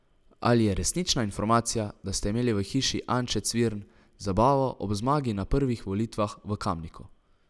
Ali je resnična informacija, da ste imeli v hiši Anče Cvirn zabavo ob zmagi na prvih volitvah v Kamniku?